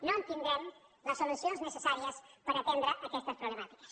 no tindrem les solucions necessàries per atendre aquestes problemàtiques